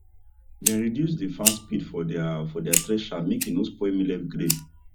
dem reduce dey fan speed for deir for deir thresher make e no spoil millet grain